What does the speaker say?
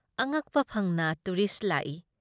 ꯑꯉꯛꯄ ꯐꯪꯅ ꯇꯨꯔꯤꯁ ꯂꯥꯛꯏ ꯫